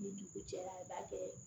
Ni dugu jɛra i b'a kɛ